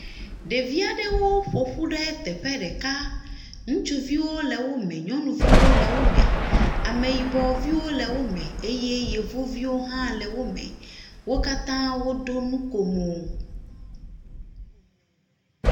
Ɖevi aɖewo ƒo ƒu ɖe teƒe ɖeka. Ŋutsuviwo le wome, nyɔnuviwo le wome. Ameyibɔviwo le wome eye Yevuviwo hã le wome. Wo katã woɖo nukomo.